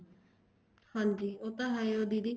ਹਾਂਜੀ ਉਹ ਤਾਂ ਹੈ ਓ ਆ ਦੀਦੀ